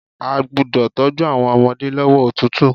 A gbúdọ̀ tọ́jú àwọn ọmọdé lọ́wọ́ òtútù.